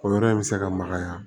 O yɔrɔ in bɛ se ka magaya